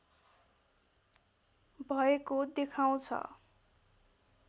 भएको देखाउँछ